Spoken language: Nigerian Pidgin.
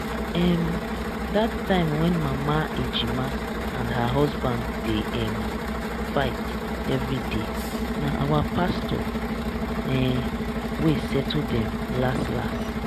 um dat time when mama ejima and her husband dey um fight everyday na our pastor um wey settle dem las las